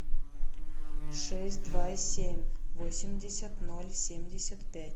шесть два семь восемьдесят ноль семьдесят пять